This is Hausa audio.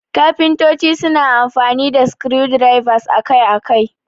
Kafintoci suna amfani da screwdrivers akai-akai.